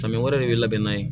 Samiyɛ wɛrɛ de bɛ labɛn na ye